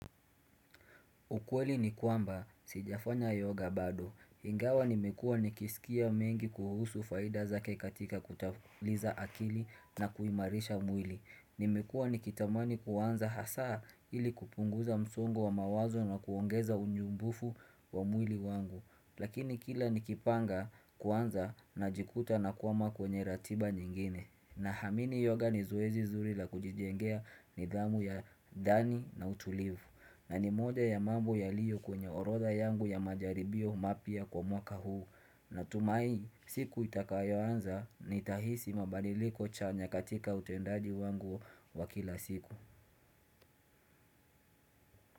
Ukweli ni kwamba, sijafanya yoga bado. Ingawa nimekua nikisikia mengi kuhusu faida zake katika kutafuliza akili na kuimarisha mwili. Nimekua nikitamani kuanza hasaa ili kupunguza msongo wa mawazo na kuongeza unyumbufu wa mwili wangu. Lakini kila nikipanga kuanza najikuta nakwama kwenye ratiba nyingine. Nahamini yoga ni zoezi zuri la kujijengea nidhamu ya ndani na utulivu. Na ni moja ya mambo yaliyo kwenye orodha yangu ya majaribio mapya kwa mwaka huu Natumai siku itakayoanza nitahisi mabadiliko chanya katika utendaji wangu wa kila siku.